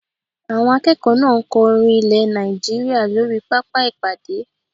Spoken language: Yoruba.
Àwọn akẹ́kọ̀ọ́ náà ń kọ orin ilẹ̀ Nàìjíríyà lórí pápá ìpàdé